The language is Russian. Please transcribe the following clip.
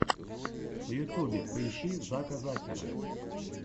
в ютьюбе поищи зака закера